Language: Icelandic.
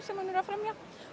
sem hún er að fremja